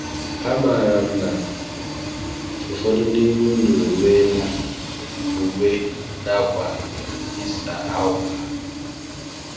Amaara m na ụfọdụ n’ime unu enweela uwe na akwa Easter ahọpụtara.